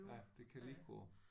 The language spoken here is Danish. Ja det kan lige gå